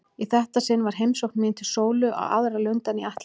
Í þetta sinn var heimsókn mín til Sólu á aðra lund en ég ætlaði.